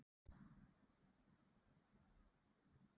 Var einhver áhugi frá liðum erlendis frá?